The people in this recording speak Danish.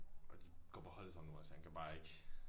Og de går på hold sammen nu også han kan bare ikke